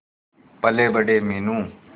पलेबड़े Meenu